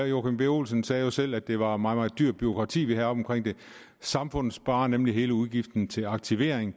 joachim b olsen sagde jo selv at det var et meget meget dyrt bureaukrati vi havde omkring det samfundet sparer nemlig hele udgiften til aktivering